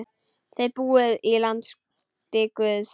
Þið búið í landi guðs.